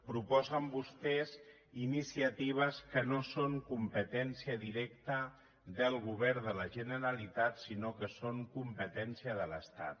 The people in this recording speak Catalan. proposen vostès iniciatives que no són competència directa del govern de la generalitat sinó que són competència de l’estat